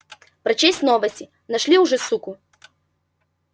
прочесть новости нашли уже суку